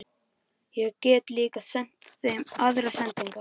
Ég get líka sent þeim aðrar sendingar!